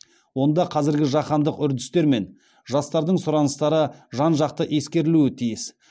онда қазіргі жаһандық үрдістер мен жастардың сұраныстары жан жақты ескерілуі тиіс